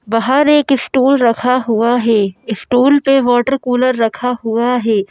बहार एक स्टूल रखा हुआ है स्टूल पे वाटर कूलर रखा हुआ है।